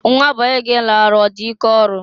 Nwa bọyị gị lara ọ dị ike ọrụ?